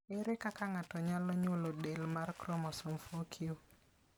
Ere kaka ng'ato nyalo nyuolo del mar chromosome 4q?